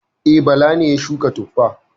E, Bala ne ya shuka tuffa.